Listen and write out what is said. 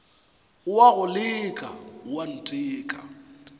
o a go leka oanteka